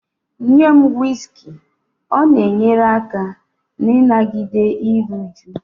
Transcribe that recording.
Nye m whiskey, ọ na-enyere aka n'ịnagide iru újú